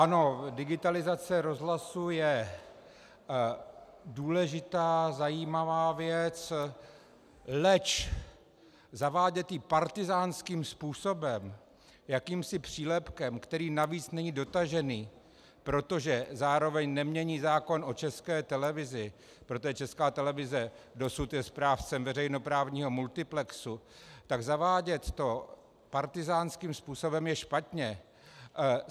Ano, digitalizace rozhlasu je důležitá, zajímavá věc, leč zavádět ji partyzánským způsobem, jakýmsi přílepkem, který navíc není dotažený, protože zároveň nemění zákon o České televizi, protože Česká televize dosud je správcem veřejnoprávního multiplexu, tak zavádět to partyzánským způsobem je špatně.